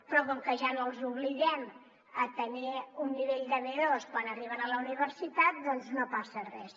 però com que ja no els obliguem a tenir un nivell b2 quan arriben a la universitat doncs no passa res